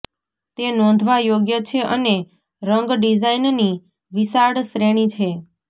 તે નોંધવા યોગ્ય છે અને રંગ ડિઝાઇનની વિશાળ શ્રેણી છે